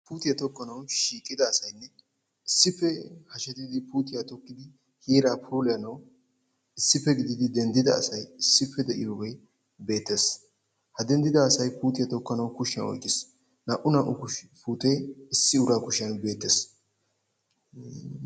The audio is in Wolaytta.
Puutiyaa tokkanawu shiiqida asaati issipe hashetidi puutiyaa tokkidi heeraa puulayanawu issipe gididi denddida asaay issipe deiyoge beettes. Ha denddida asaay puutiya tokkanawu kushiyan oyqqiis. Naa''u naa''u puute issi uraa kushiyan beettes.